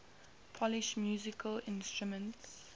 polish musical instruments